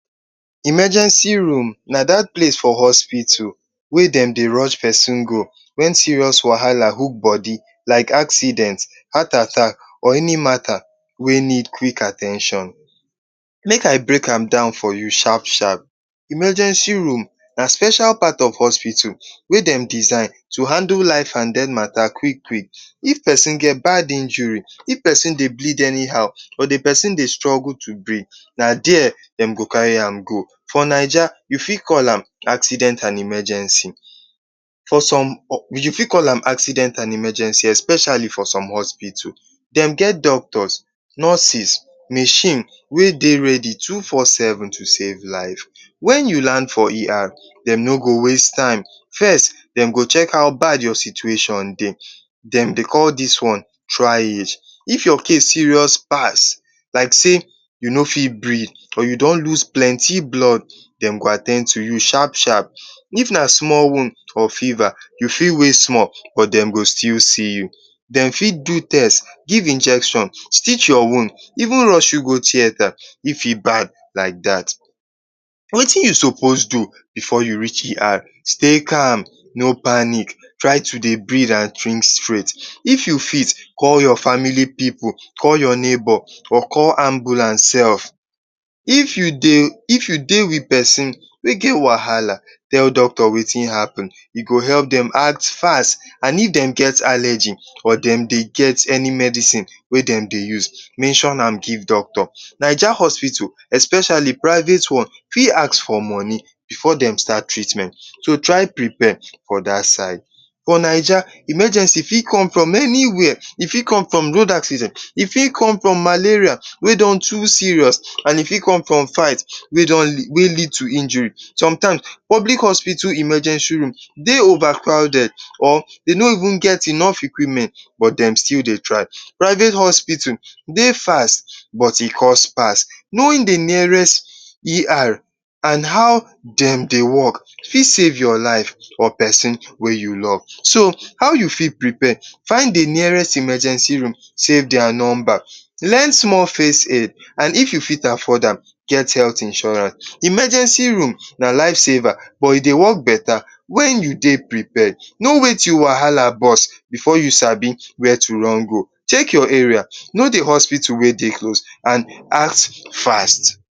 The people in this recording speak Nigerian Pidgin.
Emergency room na dat place for hospital wey dem dey rosh pesin go wen serious wahala hook bodi, like acident, heart attack or any mata wey need quick at ten tion. Make I break am down for you shap-shap. Emergency room for special room wey dem design to handle life and death mata quick-quick. If pesin get bad injury, if pesin dey breat any how or the pesin dey struggle to breat, na dia dem go kari am go. For Naija, you fit call am acident and emergency especiali for som hospital. Dem get doctor, nuses, machine wey dey ready two-four- seven to safe life wen you land for ER, dem no go waste time, dem go chek how bad your situation dey. Dem dey call dis one try age. If your case serious pass, like sey you no breat or youd don loose plenty blood, dem go at ten d to you shap-shap, if na small wound, feva you fit small but dem still see you. Dem fit do test, give injection, stich your wound or even rush you go tiata if e bad like dat. Wetin you sopos do before you reach ER? Stake am no panic, try to dey brit and tink straight, if you fit, call your family pipu, call your nebor, call amubulace sef. If you dey wit pesin, wey get wahala tell doctor wetin happen, e go help dem act fast. And if dem get alegy or dem dey get medicine dey get medicine wey dem dey use, mention am give doctor. Naija hospital especiali privet one fit ask for moni before dem start treatment, so try prepare for dat side. For Naija, emergency fit come from anywhere, e fi t come from road acident, e fit come from malaria wey don too serious and e fit come from fight wey don lead to injury, somtime, public emergency room dey ova crowded, de no even get enof equipment but dem still dey try. Privet hospital dey fast but e cost pass. Nowin the nearest ER and hoew dem dey work fit safe your life or pesin wey you love. So how you fit prepare, find the nearest emergency room, safe dia nomba, learn small first aid and if you fit afford am get health insurance. Emergency room na life seva but e dey work beta wen you dey prepa. No let wahala bost before you sabi where to run go. Chek your area wey dey close and act fast.